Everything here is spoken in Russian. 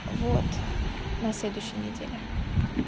вот на следующей неделе